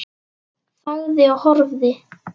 Þagði og horfði.